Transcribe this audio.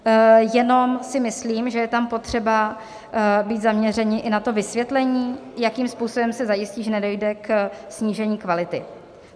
Jenom si myslím, že je tam potřeba být zaměřeni i na to vysvětlení, jakým způsobem se zajistí, že nedojde ke snížení kvality.